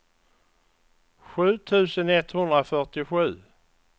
sju tusen etthundrafyrtiosju